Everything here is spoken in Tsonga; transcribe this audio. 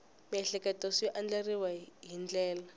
miehleketo swi andlariweke hi ndlela